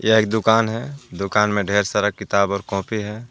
यह एक दुकान हैं दुकान में ढेर सारा किताब और कॉपी हैं.